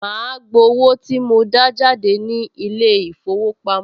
Màá gbowó tí mo dá jáde ní ilé-ìfowópamọ́